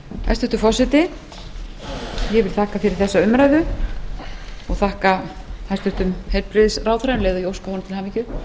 hæstvirtur forseti ég þakka fyrir þessa umræðu og þakka hæstvirtum heilbrigðisráðherra um leið og ég óska honum til hamingju